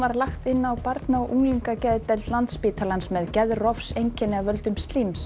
lagt inn á Barna og unglingageðdeild Landspítalans með geðrofseinkenni af völdum